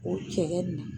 O cɛ nin